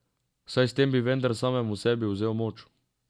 Saj s tem bi vendar samemu sebi vzel moč.